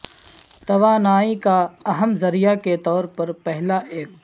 توانائی کا اہم ذریعہ کے طور پر پہلا ایکٹ